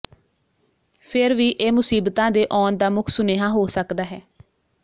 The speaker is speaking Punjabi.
ਫਿਰ ਵੀ ਇਹ ਮੁਸੀਬਤਾਂ ਦੇ ਆਉਣ ਦਾ ਮੁੱਖ ਸੁਨੇਹਾ ਹੋ ਸਕਦਾ ਹੈ